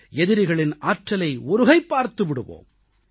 எதிரிகளின் ஆற்றலை ஒருகை பார்த்து விடுவோம்